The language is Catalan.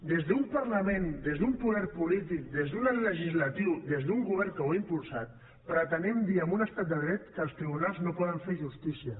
des d’un parlament des d’un poder polític des d’un legislatiu des d’un govern que ho ha impulsat pretenem dir en un estat de dret que els tribunals no poden fer justícia